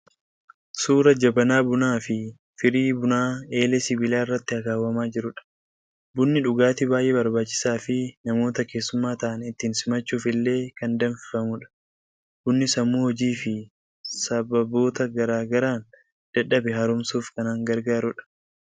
Suuraa Jabanaa bunaa fi firii bunaa eelee sibiilaa irratti akaawwamaa jirudha. Bunni dhugaatii baay'ee barbaachisaa fi namoota keessummaa ta'an ittiin simachuuf illee kan danfifamudha. Bunni sammuu hojii fi sababoota garaa garaan dadhabe haaromsuuf kan gargaarudha.